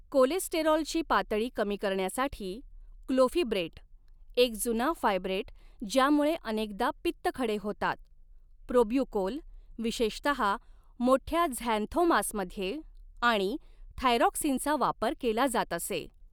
कोलेस्टेरॉलची पातळी कमी करण्यासाठी क्लोफिब्रेट एक जुना फायब्रेट ज्यामुळे अनेकदा पित्त खडे होतात, प्रोब्युकोल विशेषतहा मोठ्या झॅन्थोमासमध्ये आणि थायरॉक्सिनचा वापर केला जात असे.